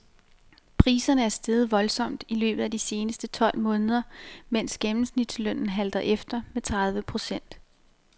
Priserne er steget voldsomt i løbet af de seneste tolv måneder, mens gennemsnitslønnen halter efter med tredive procent.